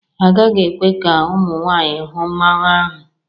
Agaghị ekwe ka ụmụ nwanyị hụ mmanwu ahụ.